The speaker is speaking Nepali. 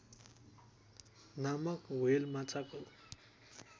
नामक हृवेल माछाको